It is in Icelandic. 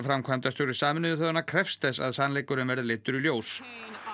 framkvæmdastjóri Sameinuðu þjóðanna krefst þess að sannleikurinn verði leiddur í ljós